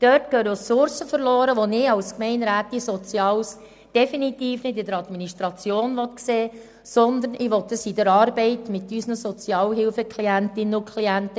Dort gehen Ressourcen verloren, die ich als Gemeinderätin für Soziales definitiv nicht in der Administration sehen will, sondern in der Arbeit mit unseren Sozialhilfeklientinnen und -klienten.